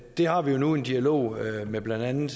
det har vi jo nu en dialog med blandt andet